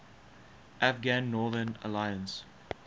afghan northern alliance